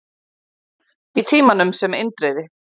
Í Tímanum, sem Indriði